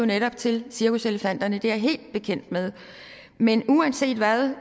netop til cirkuselefanterne det er jeg helt bekendt med men uanset hvad er